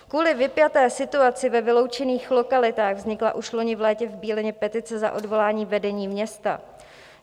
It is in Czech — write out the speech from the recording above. Kvůli vypjaté situaci ve vyloučených lokalitách vznikla už loni v létě v Bílině petice za odvolání vedení města.